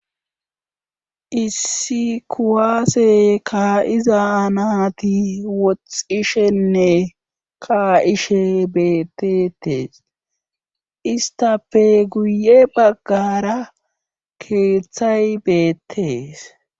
Issi kuwaase kaa7iza naati woxxishenne kaa7ishe beeteettees isttafe guye baggaara keethay beettees